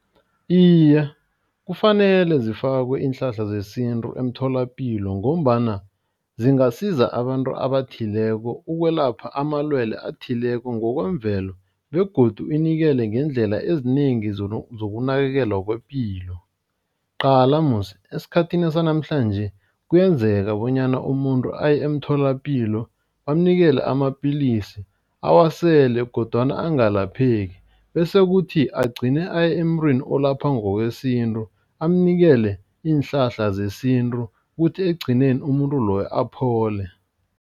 Iye, kufanele zifakwe iinhlahla zesintu emtholapilo. Ngombana zingasiza abantu abathileko ukwelapha amalwele athileko ngokwemvelo begodu inikele ngeendlela ezinengi zokunakekelwa kwepilo. Qala musi esikhathini sanamhlanje kuyenzeka bonyana umuntu aye emtholapilo, bamnikele amapillisi awasele. Kodwana angalapheki bese kuthi agcine aye emntwini olapha ngokwesintu amnikele iinhlahla zesintu kuthi ekugcineni umuntu loyo aphole.